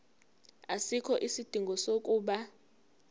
asikho isidingo sokuba